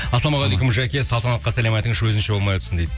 ассалаумағалейкум жаке салтанатқа сәлем айтыңызшы өзінше болмай отырсын дейді